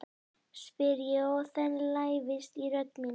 spyr ég og þen lævísi í rödd mína.